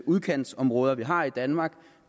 udkantsområder vi har i danmark